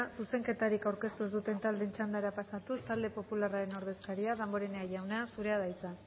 zuzenketarik aurkeztu ez duten taldeen txandara pasatuz talde popularraren ordezkaria damborenea jauna zurea da hitza